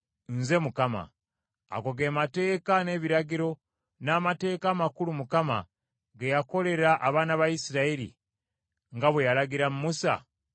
Ago ge mateeka n’ebiragiro n’amateeka amakulu Mukama ge yakolera abaana ba Isirayiri, nga bwe yalagira Musa, ku lusozi Sinaayi.